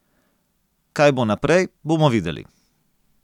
Kaj bo naprej, bomo videli.